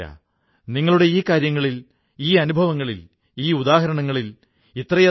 താൻ മെക്സിക്കോയിലെത്തി ഖാദിയുടെ പ്രവർത്തനം തുടങ്ങുമെന്ന് ബ്രൌൺ നിശ്ചയിച്ചു